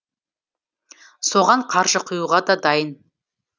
соған қаржы құюға да дайын